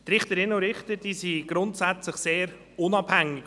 Richterinnen und Richter sind grundsätzlich sehr unabhängig.